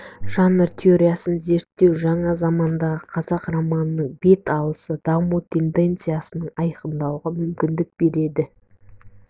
жанр теориясын зерттеу жаңа замандағы қазақ романының бет алысын даму тенденцияларын айқындауға мүмкін береді